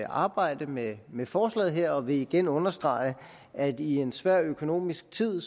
arbejde med med forslaget her og vil igen understrege at i en svær økonomisk tid